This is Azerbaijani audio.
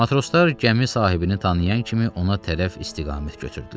Matroslar gəmi sahibini tanıyan kimi ona tərəf istiqamət götürdülər.